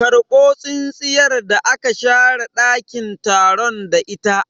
Karbo tsintsiyar da aka share ɗakin taron da ita!